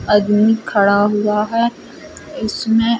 आदमी खड़ा हुआ है इसमें --